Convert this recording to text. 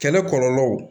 Kɛlɛ kɔlɔlɔw